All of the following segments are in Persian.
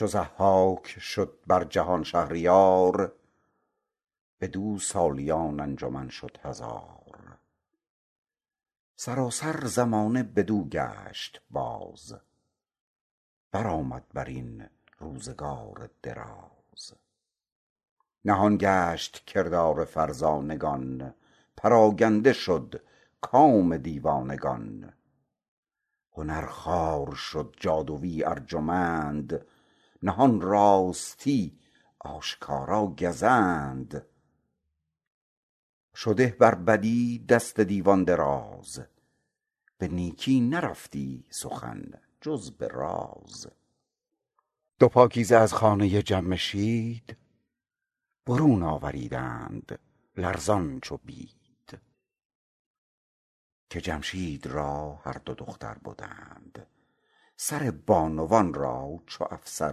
چو ضحاک شد بر جهان شهریار بر او سالیان انجمن شد هزار سراسر زمانه بدو گشت باز برآمد بر این روزگار دراز نهان گشت کردار فرزانگان پراگنده شد کام دیوانگان هنر خوار شد جادویی ارجمند نهان راستی آشکارا گزند شده بر بدی دست دیوان دراز به نیکی نرفتی سخن جز به راز دو پاکیزه از خانه جمشید برون آوریدند لرزان چو بید که جمشید را هر دو دختر بدند سر بانوان را چو افسر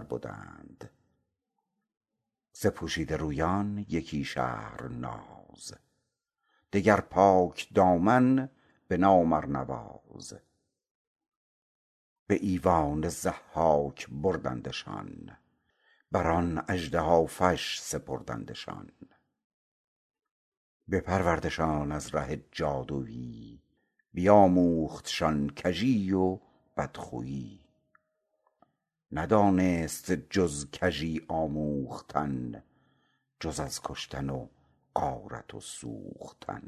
بدند ز پوشیده رویان یکی شهرناز دگر پاکدامن به نام ارنواز به ایوان ضحاک بردندشان بر آن اژدهافش سپردندشان بپروردشان از ره جادویی بیاموختشان کژی و بدخویی ندانست جز کژی آموختن جز از کشتن و غارت و سوختن